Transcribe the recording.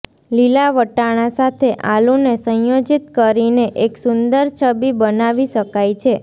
લીલા વટાણા સાથે આલૂને સંયોજિત કરીને એક સુંદર છબી બનાવી શકાય છે